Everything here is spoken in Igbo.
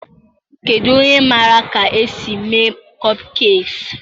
Kedu onye maara ka esi eme kopkekiis?